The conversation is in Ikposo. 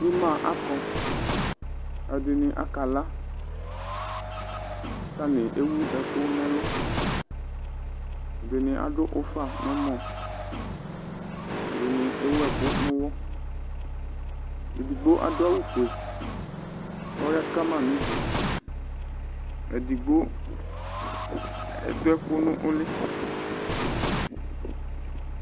Ima akɔ ɛdini akala ku atani ewu ɛku nu ɛluɛdini aɖu ufa nu ɛwɔɛdini ewu ɛku nu uwɔedigbo adʋ awu 'foe , ku ɔya kama nu uduEdigbo aɖu ɛku nu uli